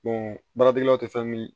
baaratigilaw tɛ fɛn min